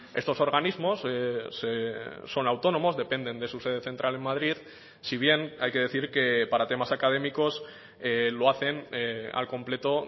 estos organismos son autónomos dependen de su sede central en madrid si bien hay que decir que para temas académicos lo hacen al completo